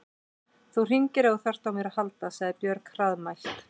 Þú hringir ef þú þarft á mér að halda, sagði Björg hraðmælt.